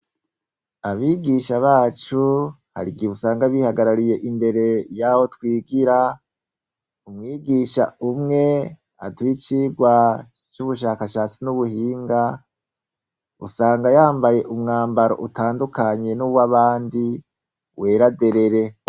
Abigisha bacu, harigihe usanga bihagarariye imbere yaho twigira, Umwigisha umwe, aduha icigwa c'ubushakashatsi n'ubuhinga usanga yambaye umwambaro utandukanye nuw'abandi, wera derere.